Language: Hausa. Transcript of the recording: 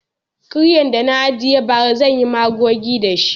Kiryan da na ajiye bara zan yi magogi da shi.